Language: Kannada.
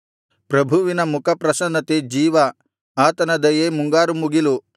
ಪ್ರಭುವಿನ ಮುಖಪ್ರಸನ್ನತೆ ಜೀವ ಆತನ ದಯೆ ಮುಂಗಾರುಮುಗಿಲು